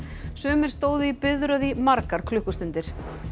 sumir stóðu í biðröð í margar klukkustundir